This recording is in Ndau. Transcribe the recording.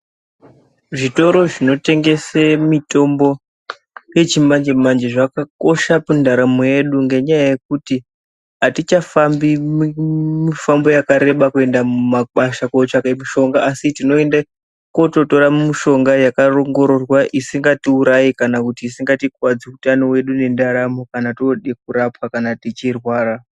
Zvitoro zvinotengese mitombo yechimanje-manje zvakakosha kundaramo yedu ngenyaya yekuti hatichafambi mifambo yakareba kuenda kumakwasha kotsvake mishonga, Asi tinoende kototora mishonga yakaongororwa isingatiurayi kana kuti isingatikuwadzi utano hwedu nendaramo kana tode kurapwa kana tichirwara.